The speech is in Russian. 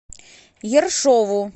ершову